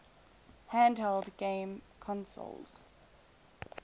handheld game consoles